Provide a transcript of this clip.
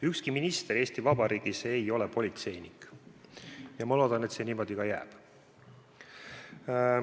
Ükski minister Eesti Vabariigis ei ole politseinik ja ma loodan, et see niimoodi ka jääb.